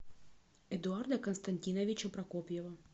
эдуарда константиновича прокопьева